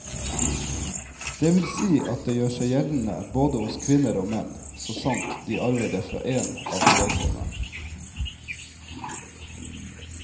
Det vil si at det gjør seg gjeldende både hos kvinner og menn, så sant de arver det fra én av foreldrene.